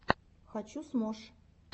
хочу смош